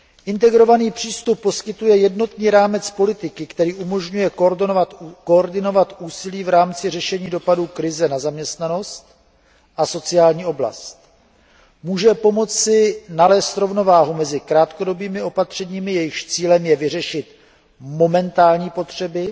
Integrovaný přístup poskytuje jednotný rámec politiky, který umožňuje koordinovat úsilí v rámci řešení dopadů krize na zaměstnanost a sociální oblast, může pomoci nalézt rovnováhu mezi krátkodobými opatřeními, jejichž cílem je vyřešit momentální potřeby,